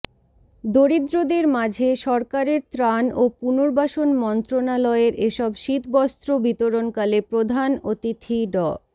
দরিদ্রদের মাঝে সরকারের ত্রাণ ও পুনর্বাসন মন্ত্রণালয়ের এসব শীতবস্ত্র বিতরণকালে প্রধান অতিথি ড